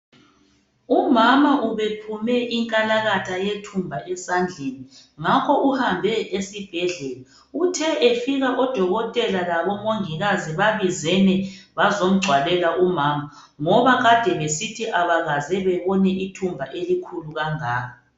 Umama ubephume inkalakatha yethumba esandleni, ngakho uhambe esibhedlela. Uthe efika odokotela labomongikazi babizene bazomgcwalela umama ngoba kade besithi abakaze bebone ithumba elikhulu kangaka.